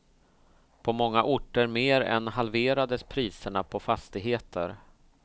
På många orter mer än halverades priserna på fastigheter.